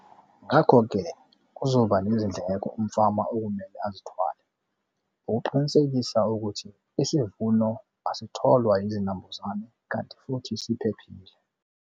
Ngakho-ke kuzoba nezindleko umfama okumele azithwale ukuqinisekisa ukuthi isivuno asitholwa yizinambuzane kanti futhi siphephile.